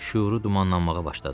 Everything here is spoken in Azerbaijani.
Şüuru dumanlanmağa başladı.